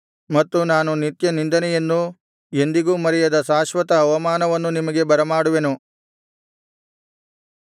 ಮತ್ತು ನಾನು ನಿತ್ಯನಿಂದೆಯನ್ನೂ ಎಂದಿಗೂ ಮರೆಯದ ಶಾಶ್ವತ ಅವಮಾನವನ್ನು ನಿಮಗೆ ಬರಮಾಡುವೆನು